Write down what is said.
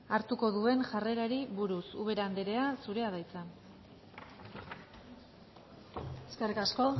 hartuko duen jarrerari buruz ubera anderea zurea da hitza eskerrik asko